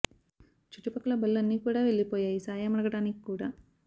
చుట్టూ పక్కల బళ్ళు అన్ని కూడా వెళ్ళిపోయాయి సాయం అడగడానికి కూడా